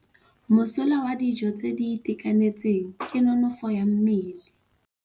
Mosola wa dijô tse di itekanetseng ke nonôfô ya mmele.